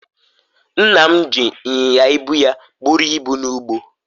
nna m ji inyinya ibu ya buru ibu n'ugbo